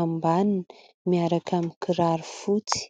ambaniny miaraka aminy kiraro fotsy.